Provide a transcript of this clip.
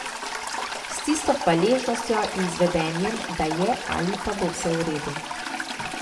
S tisto hvaležnostjo in z vedenjem, da je ali pa bo vse v redu.